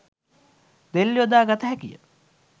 දෙල් යොදා ගත හැකිය